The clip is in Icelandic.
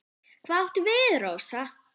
Hvað áttu við, Rósa?